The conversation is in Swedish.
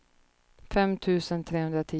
fem tusen trehundratio